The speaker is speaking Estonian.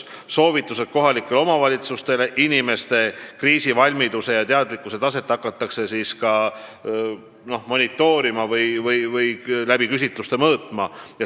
Koostatakse soovitused kohalikele omavalitsustele, inimeste kriisivalmidust ja teadlikkuse taset hakatakse kindlaks tegema küsitlustega.